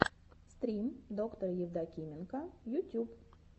стрим доктора евдокименко ютюб